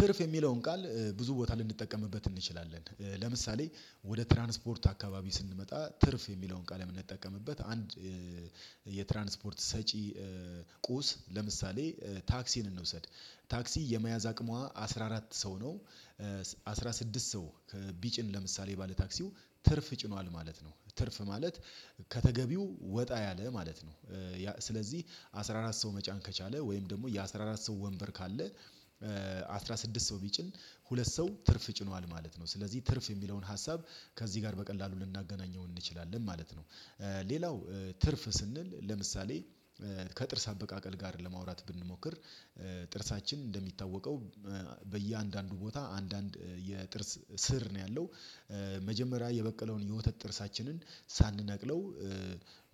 ትርፍ የሚለውን ቃል ብዙ ቦታ ልንጠቀምበት እንችላለን። ለምሳሌ ወደ ትራንስፖርት አካባቢ ስንመጣ ትርፍ የሚለውን ቃል የምንጠቀምበት አንድ የትራንስፖርት ሰጪ ቁስ ለምሳሌ ታክሲን እንውሰድ ታክሲ የመያዝ አቅሟ አስራ አራት ሰው ነው አስራ ስድስት ሰው ቢጭን ለምሳሌ ባለ ታክሲው ትርፍ ጭኗል ማለት ነው ትርፍ ማለት ከተገቢው ወጣ ያለ ማለት ነው። ስለዚህ አስራ አራት ሰው መጫን ከቻለ ወይም ደግሞ የአስራ አራት ሰው ወንበር ካለ አስራ ስድስት ሰው ቢጭን ሁለት ሰው ትርፍ ጭኗል ማለት ነው ስለዚህ ትርፍ የሚለውን ሀሳብ ከዚህ ጋር በቀላሉ ልናገናኘው እንችላለን ማለት ነው። ሌላው ትርፍ ስንል ለምሳሌ ከጥርስ አበቃቀል ጋር ለማውራት ብንሞክር ጥርሳችን እንደሚታወቀው በእያንዳንዱ ቦታ አንዳንድ የጥርስ ስር ነው ያለው መጀመሪያ የበቀለውን የውተት ጥርሳችንን ሳንነቅለው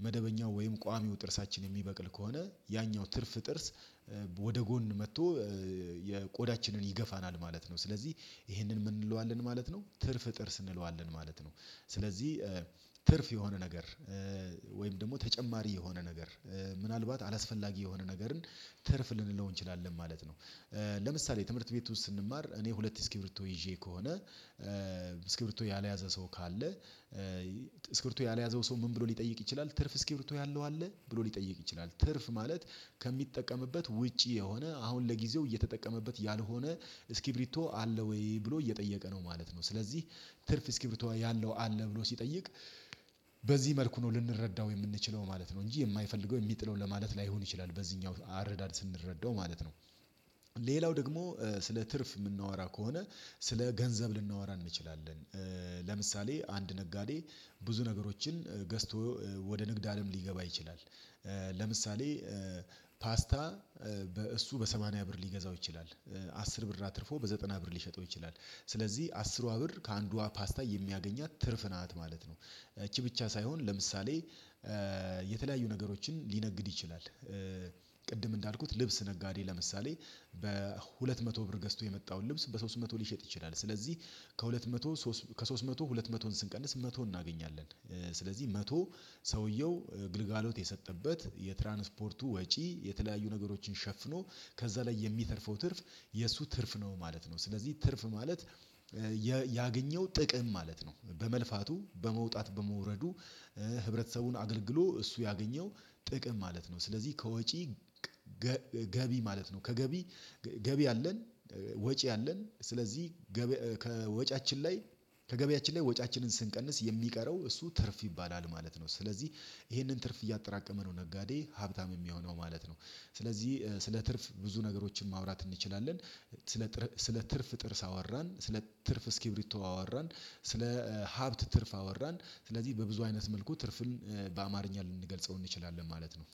መደበኛው ወይም ቋሚው ጥርሳችን የሚበቅል ከሆነ ያኛው ትርፍ ጥርስ ወደ ጎን መጥቶ የቆዳችንን ይገፋናል ማለት ነው። ስለዚህ ይሄንን ምን እንለዋለን ማለት ነው ትርፍ ጥርስ እንለዋለን ማለት ነው። ስለዚህ ትርፍ የሆነ ነገር ወይም ደግሞ ተጨማሪ የሆነ ነገር ምናልባት አላስፈላጊ የሆነ ነገርን ትርፍ ልንለው እንችላለን ማለት ነው። ለምሳሌ ትምህርት ቤት ውስጥ ስንማር እኔ ሁለት እስኪቢርቶ ይዤ ከሆነ እስኪብርቶ ያልያዘ ሰው ካለ ስክርቶ ያልያዘው ሰው ምን ብሎ ሊጠይቅ ይችላል ትርፍ እስክርቶ ያለው አለ ብሎ ሊጠይቅ ይችላል? ትርፍ ማለት ከሚጠቀምበት ውጪ የሆነ አሁን ለጊዜው እየተጠቀመበት ያልሆነ እስኪቢርቶ አለ ወይ ብሎ እየጠየቀ ነው ማለት ነው። ስለዚህ ትርፍ እስኪብሪቶ ያለው አለ ብሎ ሲጠይቅ በዚህ መልኩ ነው ልንረዳው የምንችለው ማለት ነው እንጂ የማይፈልገው የሚጥለው ለማለት ላይሆን ይችላል በዚህኛው አረዳድ ስንረዳው ማለት ነው። ሌላው ደግሞ ስለ ትርፍ የምናወራ ከሆነ ስለ ገንዘብ ልናወራ እንችላለን። ለምሳሌ አንድ ነጋዴ ብዙ ነገሮችን ገዝቶ ወደ ንግድ አለም ሊገባ ይችላል ለምሳሌ ፓስታ በእሱ በሰማንያ ብር ሊገዛው ይችላል አስር ብር አትርፎ በዘጠና ብር ሊሸጠው ይችላል ስለዚህ አስሯ ብር ከአንዷ ፓስታ የሚያገኛት ትርፍ ናት ማለት ነው። እቺ ብቻ ሳይሆን ለምሳሌ የተለያዩ ነገሮችን ሊነግድ ይችላል ቅድም እንዳልኩት ልብስ ነጋዴ ለምሳሌ በሁለት መቶ ብር ገዝቶ የመጣውን ልብስ በሶስት መቶ ሊሸጥ ይችላል። ስለዚህ ከሁለት መቶ ከሶስት መቶ ሁለት መቶን ስንቀንስ መቶ እናገኛለን ስለዚህ መቶ ሰውየው ግልጋሎት የሰጠበት የትራንስፖርቱ ወጪ የተለያዩ ነገሮችን ሸፍኖ ከዛ ላይ የሚተርፈው ትርፍ የእሱ ትርፍ ነው ማለት ነው። ስለዚህ ትርፍ ማለት ያገኘው ጥቅም ማለት ነው በመልፋቱ በመውጣት በመውረዱ ህብረተሰቡን አገልግሎ እሱ ያገኘው ጥቅም ማለት ነው ስለዚህ ከወጪ ገቢ ማለት ነው ከገቢ ገቢ አለን ወጪ አለን ስለዚህ ከወጪያችን ላይ ከገቢያችን ላይ ወጪያችንን ስንቀንስ የሚቀረው እሱ ትርፍ ይባላል ማለት ነው። ስለዚህ ይሄንን ትርፍ እያጠራቀመ ነው ነጋዴ ሀብታም የሚሆነው ማለት ነው። ስለዚህ ስለ ትርፍ ብዙ ነገሮችን ማውራት እንችላለን ስለ ስለ ትርፍ ጥርስ አወራን ስለ ትርፍ እስኪብሪቶ አወራን ስለ ሀብት ትርፍ አወራን ስለዚህ በብዙ አይነት መልኩ ትርፍን በአማርኛ ልንገልጸው እንችላለን ማለት ነው